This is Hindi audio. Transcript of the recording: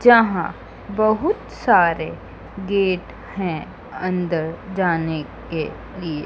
जहां बहुत सारे गेट हैं अंदर जाने के लिए--